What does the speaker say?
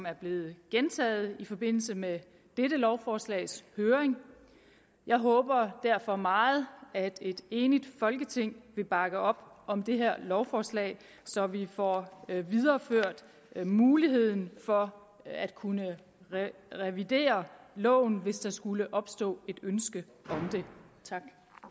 er blevet gentaget i forbindelse med dette lovforslags høring jeg håber derfor meget at et enigt folketing vil bakke op om det her lovforslag så vi får videreført muligheden for at kunne revidere loven hvis der skulle opstå et ønske om det tak